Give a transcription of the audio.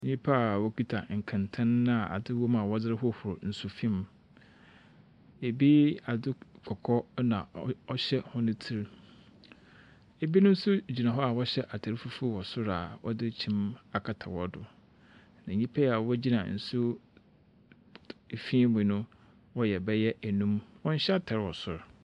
Nyimpa wɔkita nkɛntɛn a adze wɔ mu a wɔdze rehohor nsufi mu. Bi, adze kɔkɔɔ nɔ ɔre ɔhyɛ hɔn tsir. Binom nso gyina hɔ a wɔhyɛ atar fufuw wɔ sor a wɔdze kyim akata hɔn do. Na nyimpayi a wogyina nsu fi mu no wɔyɛ bayɛ enum. Wɔnhyɛ atar wɔ sor.